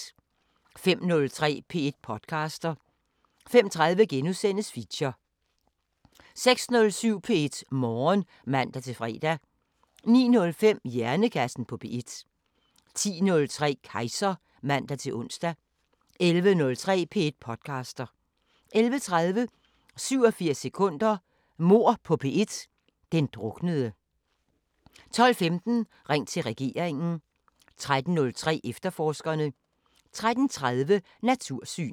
05:03: P1 podcaster 05:30: Feature * 06:07: P1 Morgen (man-fre) 09:05: Hjernekassen på P1 10:03: Kejser (man-ons) 11:03: P1 podcaster 11:30: 87 sekunder – Mord på P1: Den druknede 12:15: Ring til regeringen 13:03: Efterforskerne 13:30: Natursyn